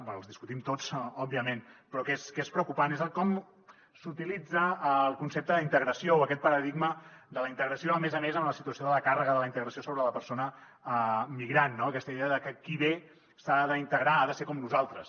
bé els discutim tots òbviament però que és preocupant és com s’utilitza el concepte d’integració o aquest paradigma de la integració a més a més amb la situació de la càrrega de la integració sobre la persona migrant no aquesta idea de que qui ve s’ha d’integrar ha de ser com nosaltres